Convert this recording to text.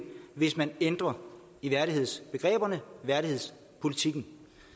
hvis man ændrer i værdighedsbegreberne værdighedspolitikken